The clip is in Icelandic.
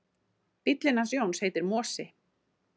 Bíllinn hans Jóns heitir Mosi.